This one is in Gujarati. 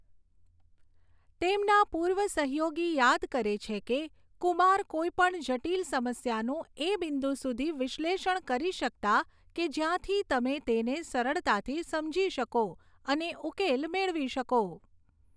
તેમના પૂર્વ સહયોગી યાદ કરે છે કે, કુમાર કોઈ પણ જટિલ સમસ્યાનું એ બિંદુ સુધી વિશ્લેષણ કરી શકતા કે જ્યાંથી તમે તેને સરળતાથી સમજી શકો અને ઉકેલ મેળવી શકો.